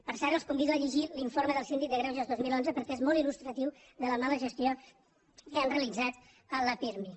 per cert els convido a llegir l’informe del síndic de greuges dos mil onze perquè és molt il·gestió que han realitzat amb la pirmi